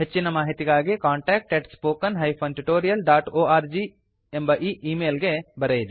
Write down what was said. ಹೆಚ್ಚಿನ ಮಾಹಿತಿಗಾಗಿ contactspoken tutorialorg ಎಂಬ ಈಮೇಲ್ ಗೆ ಬರೆಯಿರಿ